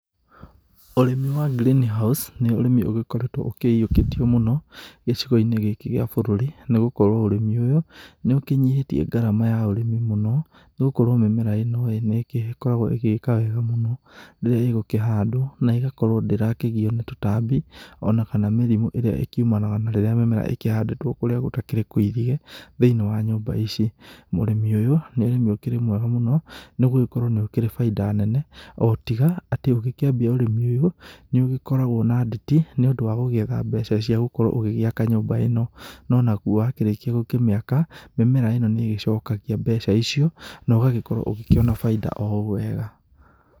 Ũrĩmi wa green house[cs,] nĩ ũrĩmi ũgĩkoretwo ũkĩyĩũkĩtio mũno gĩcigo-inĩ gĩkĩ gĩa bũrũr,i nĩgũkorwo ũrĩmi ũyũ nĩ ũkĩnyihĩtie garama ya ũrĩmi mũno, nĩgũkorwo mĩmera ino nĩ gĩkoragwo igĩka wega mũno, rĩrĩa ĩgũkĩhandwo na ĩgakorwo ndĩrakĩgio na tũtambi ona kana mĩrimũ ĩrĩa igĩkiumanaga na rĩrĩa mĩmera ĩkĩhandĩtwo kũrĩa gũtakĩrĩ kũirige thĩiniĩ wa nyũmba ici. Ũrĩmi ũyũ nĩ ũrĩmi ũkĩrĩ mwega mũno nĩgũkorwo nĩ ũkĩrĩ bainda nene, ũtiga atĩ ũgĩkĩambia ũrĩmi ũyũ nĩ ũgĩkoragwo na nditi nĩ ũndũ wa gũgĩetha mbeca cia gũkorwo ũgĩgĩaka nyũmba ino. No naguo wakĩrĩkia gũkũmĩaka mĩmera ino nĩgĩcokagia mbeca icio, no ũgagĩkorwo ũgĩkĩona bainda o wega.